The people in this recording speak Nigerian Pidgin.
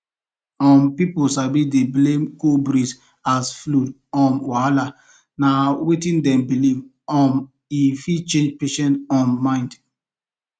um pipo sabi dey blame cold breeze as flu wahala na wetin dem believe um e fit change patient um mind